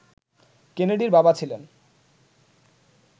কেনেডির বাবা ছিলেন